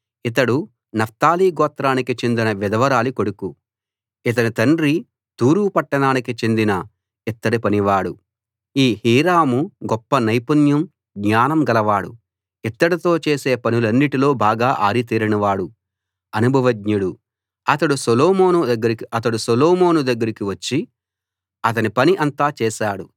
ఇతడు నఫ్తాలి గోత్రానికి చెందిన విధవరాలి కొడుకు ఇతని తండ్రి తూరు పట్టణానికి చెందిన ఇత్తడి పనివాడు ఈ హీరాము గొప్ప నైపుణ్యం జ్ఞానం గలవాడు ఇత్తడితో చేసే పనులన్నిటిలో బాగా ఆరితేరిన వాడు అనుభవజ్ఞుడు అతడు సొలొమోను దగ్గరికి వచ్చి అతని పని అంతా చేశాడు